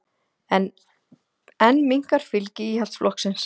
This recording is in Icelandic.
Enn minnkar fylgi Íhaldsflokksins